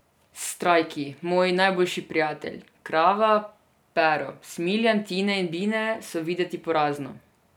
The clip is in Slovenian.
Strajki, moj najboljši prijatelj, Krava, Pero, Smiljan, Tine in Bine so videti porazno.